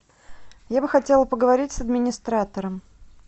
я бы хотела поговорить с администратором